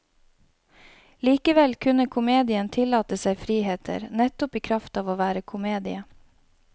Likevel kunne komedien tillate seg friheter, nettopp i kraft av å være komedie.